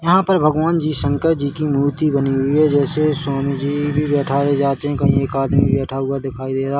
यहाँ पर भगवान जी शंकर जी की मूर्ति बनी हुई है जैसे स्वामी जी भी बैठाए जाते है कहिं एक आदमी भी बैठा हुआ दिखाई देरा--